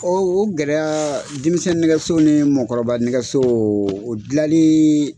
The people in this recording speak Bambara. Ɔ o gɛlɛya denmisɛnnin nɛgɛso ni mɔgɔkɔrɔba nɛgɛso o dilanliii.